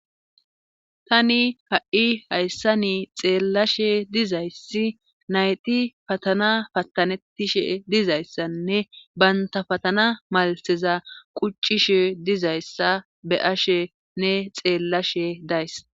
tani ha7i hayssa ni xeellashe dizayssi nayti patana patanettishe dizayssanne banta patana malseza quccishe dizayssa be ashenne xeellashe days